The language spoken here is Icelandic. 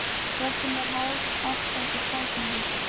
Röddin var hás, allt að því hvæsandi.